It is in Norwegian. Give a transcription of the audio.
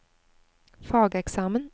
fageksamen